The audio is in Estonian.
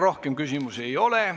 Rohkem küsimusi ei ole.